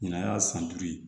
Ɲinan y'a san duuru ye